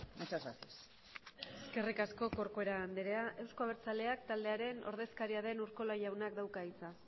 muchas gracias eskerrik asko corcuera andrea euzko abertzaleak taldearen ordezkaria den urkiola jaunak dauka hitza